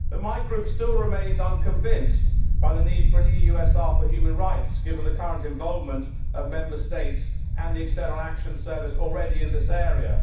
But my group still remains unconvinced by the need for an EUSR for human rights, given the current involvement of Member States and the External Action Service already in this area.